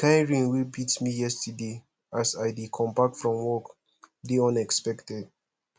the kin rain wey beat me yesterday as i dey come back from work dey unexpected